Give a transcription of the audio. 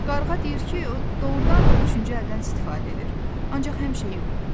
Qarğa deyir ki, o doğurdan da üçüncü əldən istifadə edir, ancaq həmişə yox.